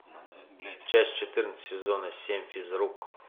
часть четырнадцать сезона семь физрук